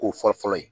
Ko fɔlɔ fɔlɔ ye